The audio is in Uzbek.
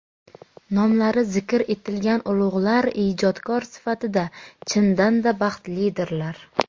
nomlari zikr etilgan ulug‘lar ijodkor sifatida chindan-da baxtlidirlar.